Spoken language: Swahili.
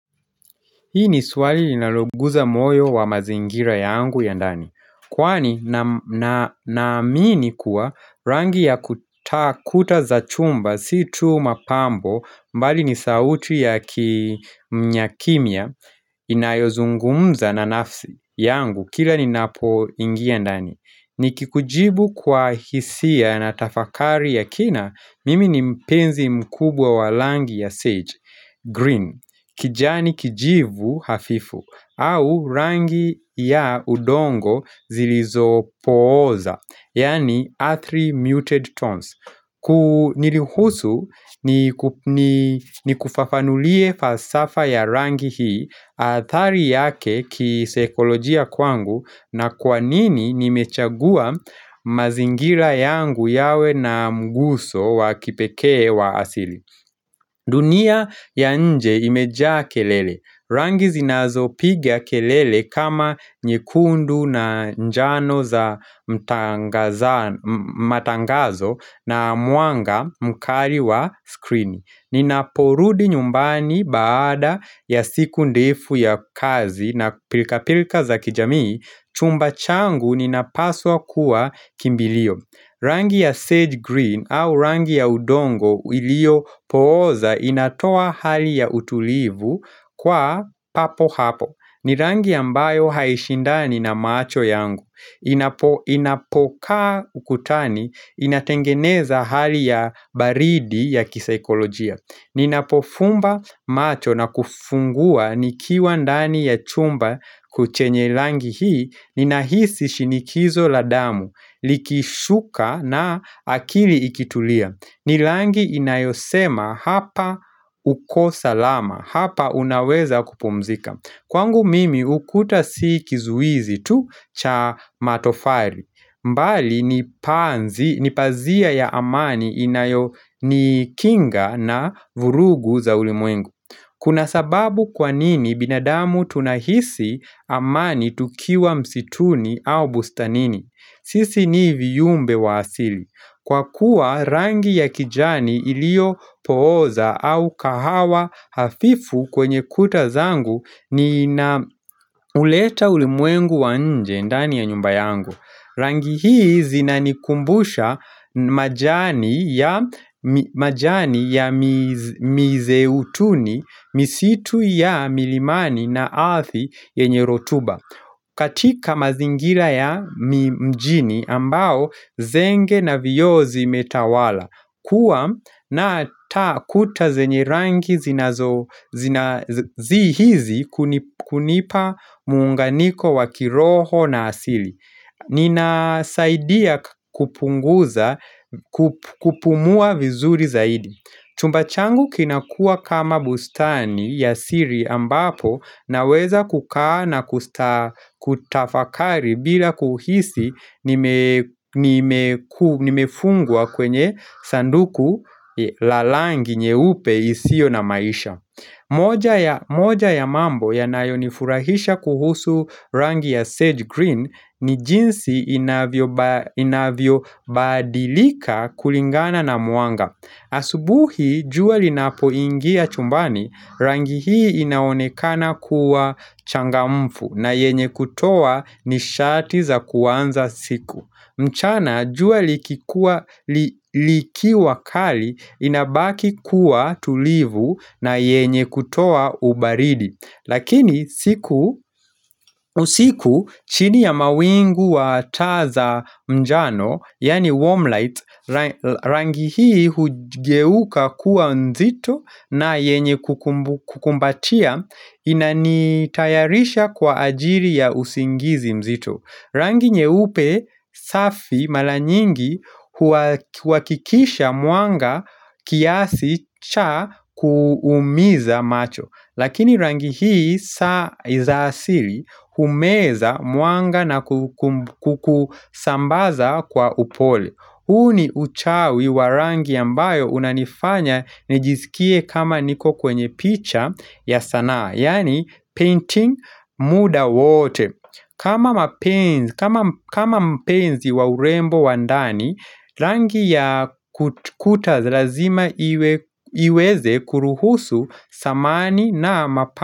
Hii ni swali linaloguza moyo wa mazingira yangu ya ndani. Kwani naamini kuwa rangi ya kuta kuta za chumba si tu mapambo mbali ni sauti ya kimya kimya inayozungumza na nafsi yangu kila ninapoingia ndani. Nikikujibu kwa hisia na tafakari ya kina mimi ni mpenzi mkubwa wa rangi ya sage, green. Kijani kijivu hafifu au rangi ya udongo zilizopooza Yaani earthly muted tones ku niruhusu nikufafanulie falsafa ya rangi hii athari yake kisaikolojia kwangu na kwa nini nimechagua mazingira yangu yawe na mguso wa kipekee wa asili dunia ya nje imejaa kelele. Rangi zinazopiga kelele kama nyekundu na njano za matangazo na mwanga mkali wa skrini. Ninaporudi nyumbani baada ya siku ndefu ya kazi na pilka-pilka za kijamii, chumba changu ninapaswa kuwa kimbilio. Rangi ya sage green au rangi ya udongo iliopooza inatoa hali ya utulivu kwa papo hapo. Ni rangi ambayo haishindani na macho yangu. Inapokaa ukutani, inatengeneza hali ya baridi ya kisaikolojia. Ninapofumba macho na kufungua nikiwa ndani ya chumba chenye rangi hii. Ninahisi shinikizo la damu, likishuka na akili ikitulia ni rangi inayosema hapa kuko salama, hapa unaweza kupumzika Kwangu mimi ukuta si kizuizi tu cha matofari bali ni panzi, nipazia ya amani inayonikinga na vurugu za ulimwengu Kuna sababu kwa nini binadamu tunahisi amani tukiwa msituni au bustanini? Sisi ni viumbe wa asili. Kwa kuwa rangi ya kijani iliyopooza au kahawa hafifu kwenye kuta zangu ninauleta ulimwengu wa nje ndani ya nyumba yangu. Rangi hii zinanikumbusha majani ya mizeutuni misitu ya milimani na ardhi yenye rotuba katika mazingira ya mjini ambao zenge na vioo zimetawala kuwa na ta kuta zenye rangi zinazo hizi hunipa muunganiko wa kiroho na asili Ninasaidia kupunguza kupumua vizuri zaidi chumba changu kinakua kama bustani ya siri ambapo naweza kukaa na kutafakari bila kuhisi nimefungwa kwenye sanduku la rangi nyeupe isiyo na maisha moja ya mambo yanayonifurahisha kuhusu rangi ya Sage Green ni jinsi inavyobadilika kulingana na mwanga. Asubuhi jua linapoingia chumbani rangi hii inaonekana kuwa changamfu na yenye kutoa nishati za kuanza siku. Mchana jua liki wakali inabaki kuwa tulivu na yenye kutoa ubaridi. Lakini usiku chini ya mawingu wa taa za njano, yaani warmlights, rangi hii hugeuka kuwa nzito na yenye kukumbatia, inanitayarisha kwa ajiri ya usingizi mzito. Rangi nyeupe safi mara nyingi huhakikisha mwanga kiasi cha kuumiza macho Lakini rangi hii za asili humeza mwanga na kukusambaza kwa upole huu ni uchawi wa rangi ambayo unanifanya nijisikie kama niko kwenye picha ya sanaa Yaani painting muda wote kama mpenzi wa urembo wa ndani, rangi ya kuta lazima iweze kuruhusu samani na mapani.